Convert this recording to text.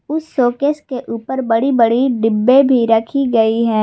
उस सोकेस के ऊपर बड़ी बड़ी डिब्बे भी रखी गई है।